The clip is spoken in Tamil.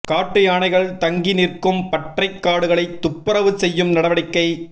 காட்டு யானைகள் தங்கி நிற்கும் பற்றைக் காடுகளை துப்பரவு செய்யும் நடவடிக்கை